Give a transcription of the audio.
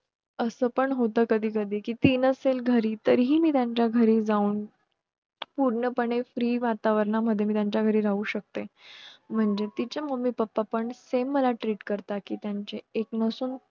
असं पण होत कधीकधी कि ती नसेल घरी तरीही मी त्यांच्या घरी जाऊन पूर्ण पणे free वातावरण मध्ये मी त्यांच्या घरी राहू शकते म्हणजे तिचे mummy pappa पण same मला treat करतात त्यांची एक नसून